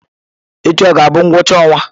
Echi ọ ga-abụ ngwụcha ọnwa?